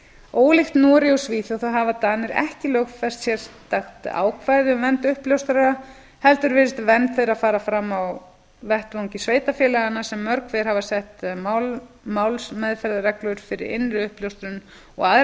ólíkt noregi og svíþjóð þá hafa danir ekki lögfest sérstakt ákvæði um vernd uppljóstrara heldur virðist vernd þeirra fara fram á vettvangi sveitarfélaganna sem mörg hver hafa sett málsmeðferðarreglur fyrir innri uppljóstrun og